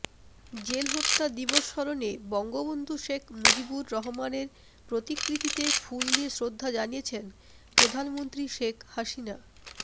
জেলহত্যা দিবস স্মরণে বঙ্গবন্ধু শেখ মুজিবুর রহমানের প্রতিকৃতিতে ফুল দিয়ে শ্রদ্ধা জানিয়েছেন প্রধানমন্ত্রী শেখ হাসিনা